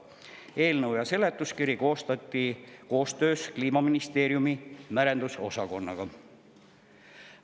Eelnõu ja seletuskiri koostati koostöös Kliimaministeeriumi merendusosakonnaga.